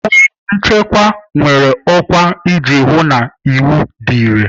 Uwe nchekwa nwere ọkwa iji hụ na iwu dị irè.